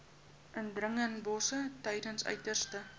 indringerbosse tydens uiterste